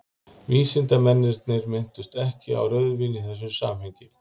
Vísindamennirnir minntust ekki á rauðvín í þessu samhengi.